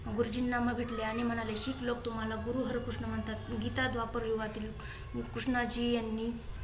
गुरुजींना मग भेटले आणि म्हणाले की शीख लोक तुम्हाला गुरु हरकृष्ण म्हणतात. गीता द्वापर युगातील कृष्णाजी यांनी